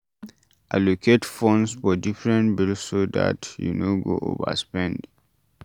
Allocate funds for different bills so dat you no go overspend